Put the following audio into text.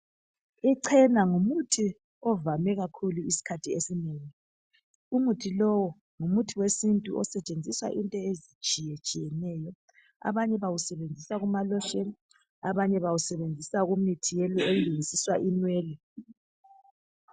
Icena ngumuthi ovame kakhulu isikhathi esinengi. Umuthi lowu ngumuthi wesintu osentshenziswa into ezitshiyetshiyeneyo abanye bawusebenzisa kumaloshini, abanye bawusebenzisa kumuthi wokulungisa inwele.